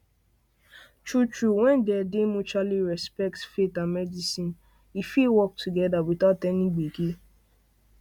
truetrue when there dey mutually respect faith and medicine fit work together without any gbege